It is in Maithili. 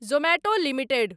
Zomato limited